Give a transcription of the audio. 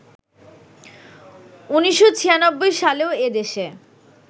১৯৯৬ সালেও এদেশে